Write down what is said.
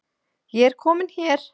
Ég er komin hér